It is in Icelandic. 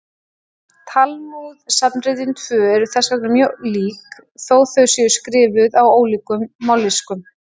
Talmúð-safnritin tvö eru þess vegna mjög lík, þó þau séu skrifuð á ólíkum mállýskum.